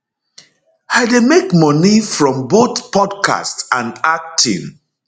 i dey make money from both podcast and acting